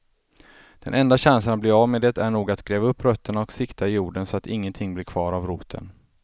Den enda chansen att bli av med det är nog att gräva upp rötterna och sikta jorden så att ingenting blir kvar av roten.